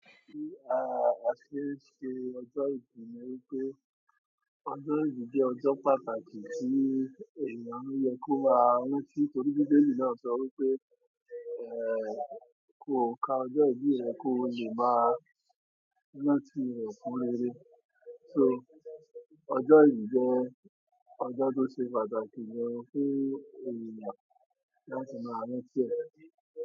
Kí a, a ṣe ṣe ọjọ́ ìbí ni wípé ọjọ́ ìbí jẹ́ ọjọ́ pàtàkì tí èeyàn ń yẹ kó máa rántí torí Bíbélì náà sọ wípé "Ẹ̀, kò ka ọjọ́ ìbí rẹ kó lè ma rántí re si reré" so ọjọ́ ìbí jẹ́ ọjọ́ tó ṣe pàtàkì ni fún èeyàn láti máa rántí rẹ̀.